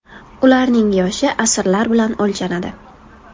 Ularning yoshi asrlar bilan o‘lchanadi.